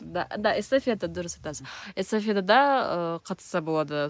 да да эстафета дұрыс эстафетада ы қатысса болады